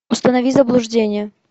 установи заблуждение